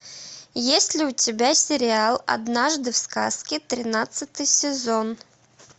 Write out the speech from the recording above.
есть ли у тебя сериал однажды в сказке тринадцатый сезон